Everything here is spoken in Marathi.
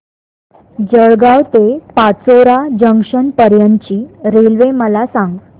जळगाव ते पाचोरा जंक्शन पर्यंतची रेल्वे मला सांग